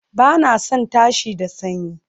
Ba na son tashi da sanyi